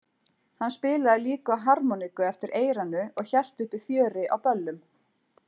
Hann spilaði líka á harmoníku eftir eyranu og hélt uppi fjöri á böllum.